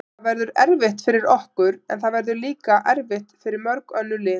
Það verður erfitt fyrir okkur, en það verður líka erfitt fyrir mörg önnur lið.